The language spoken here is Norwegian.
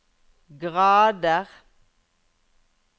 grader